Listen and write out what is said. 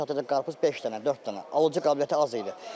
Gündə çatır qarpız beş dənə, dörd dənə, alıcı qabiliyyəti az idi.